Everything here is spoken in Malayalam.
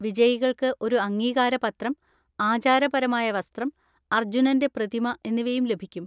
വിജയികൾക്ക് ഒരു അംഗീകാരപത്രം, ആചാരപരമായ വസ്ത്രം, അർജുനന്‍റെ പ്രതിമ എന്നിവയും ലഭിക്കും.